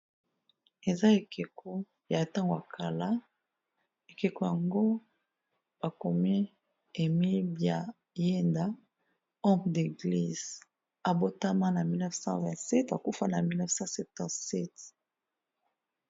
Eza ekeko ya ntango ya kala ekeko yango ba komi Emile bya yenda home d'eglise, abotama na 1927 akufa na 1977.